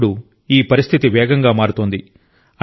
ఇప్పుడు ఈ పరిస్థితి వేగంగా మారుతోంది